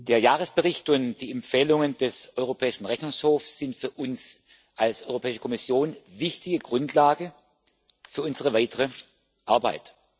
Der Jahresbericht und die Empfehlungen des Europäischen Rechnungshofs sind für uns als Europäische Kommission wichtige Grundlagen für unsere weitere Arbeit.